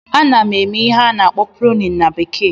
Ana m eme ihe a na-akpọ "pruning"na bekee